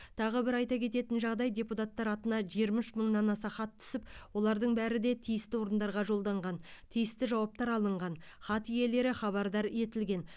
тағы бір айта кететін жағдай депутаттар атына жиырма үш мыңнан аса хат түсіп олардың бәрі де тиісті орындарға жолданған тиісті жауаптар алынған хат иелері хабардар етілген